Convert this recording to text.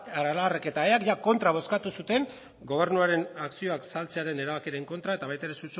aralarrek eta eak ia kontra bozkatu zuten gobernuaren akzioak saltzearen erabakiaren kontra eta baita ere